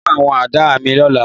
Mo máa pọ́n àwọn àdá mi lọ́la